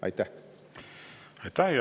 Aitäh!